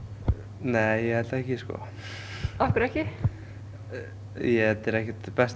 nei ég held ekki sko af hverju ekki þetta er ekkert besta